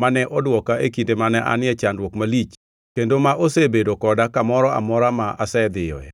mane odwoka e kinde mane an e chandruok malich kendo ma osebedo koda kamoro amora ma asedhiyoe.”